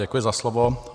Děkuji za slovo.